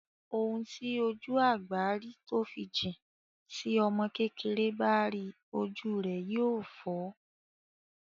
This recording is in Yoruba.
Ohun tí ojú àgbà rí tó fi jìn, ti ọmọ kékeré bá ríi ojú rẹ yóò fọ́.